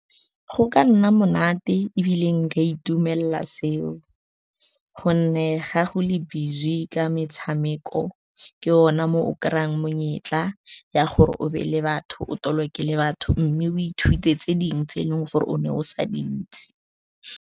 Go ka nna monate ebile nka itumelela seo, gonne ga go le busy ka metshameko, ke gona mo o kry-ang monyetla ya gore o be le batho, o taloke le batho, mme o ithute tse dingwe, tse eleng gore o ne o sa di itse.